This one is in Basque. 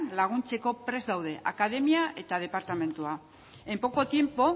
laguntzeko prest gaude akademia eta departamentua en poco tiempo